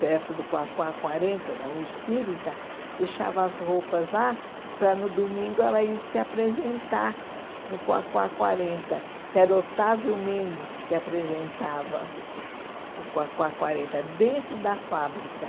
perto do Quaquá Quarenta, da Rua Espírita, deixava as roupas lá para no domingo ela ir se apresentar no Quaquá Quarenta, que era o Otávio Mendes que apresentava o Quaquá Quarenta dentro da fábrica.